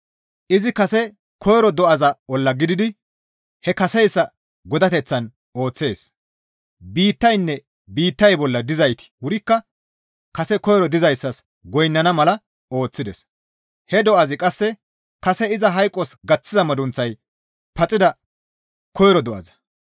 Izi kase koyro do7aza olla gelidi he kaseyssa godateththan ooththees. Biittayanne biittay bolla dizayti wurikka kase koyro do7azas goynnana mala ooththides; he do7azi qasse kase iza hayqos gaththiza madunththay paxida koyro do7aza.